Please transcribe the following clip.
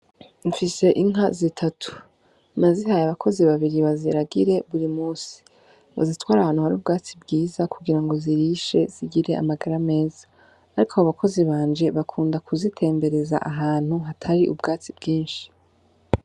Mfise inka zitatu. Nazihaye abakozi babiri baziragire buri musi, bazitware ahantu hari ubwatsi bwiza kugira ngo zirishe zigire amagara meza, ariko abo bakozi banje bakunda kuzitembereza ahantu hatari ubwatsi bwinshi.